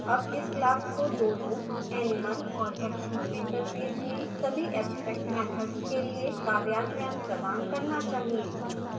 अब इस class को दोनों animal और action interfaces में सभी abstract मैथड्स के लिए कार्यान्वयन प्रदान करना चाहिए